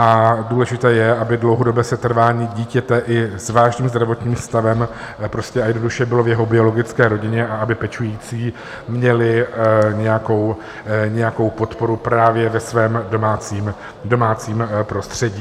A důležité je, aby dlouhodobé setrvání dítěte i s vážným zdravotním stavem prostě a jednoduše bylo v jeho biologické rodině a aby pečující měli nějakou podporu právě ve svém domácím prostředí.